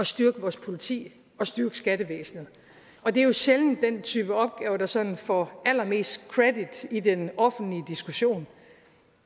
styrke vores politi og styrke skattevæsenet det er jo sjældent den type opgaver der sådan får allermest credit i den offentlige diskussion